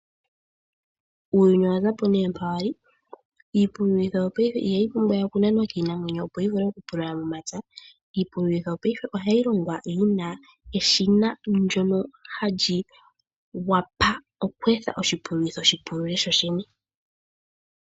Uuyuni owa zapo mpa wali, iipululitho yo yo payife iha yi pumbwa we oku nanwa kiinamwenyo opo yi vule oku pulula momapya, iipululitho yo payife oha yi longwa yina eshina ndyono halyi wapa okweetha oshipulitho shi pulule sho shene.